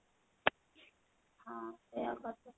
ହଁ ସେଇଆ କରିଦେ